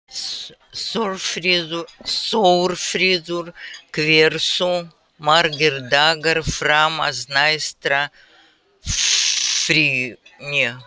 Þórfríður, hversu margir dagar fram að næsta fríi?